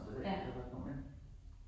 Eller jeg ved ikke hvad det hedder nu ik